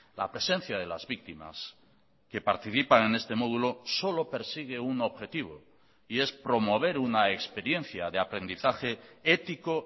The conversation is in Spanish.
la presencia de las víctimas que participan en este modulo solo persigue un objetivo y es promover una experiencia de aprendizaje ético